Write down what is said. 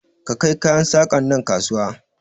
Ka kai kayan saƙan nan kasuwa!